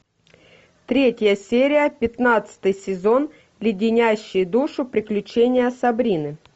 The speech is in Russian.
третья серия пятнадцатый сезон леденящие душу приключения сабрины